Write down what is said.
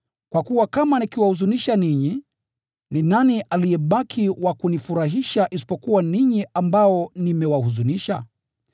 Kwa kuwa kama nikiwahuzunisha ninyi, ni nani aliyebaki wa kunifurahisha isipokuwa ninyi ambao nimewahuzunisha?